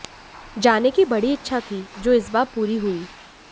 जाने की बड़ी इच्छा थी जो इस बार पूरी हुई